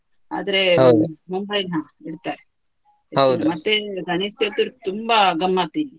ಹ ಇಡ್ತಾರೆ. ಗಣೇಶ ಚತುರ್ಥಿ ತುಂಬಾ ಗಮ್ಮತ್ ಇಲ್ಲಿ.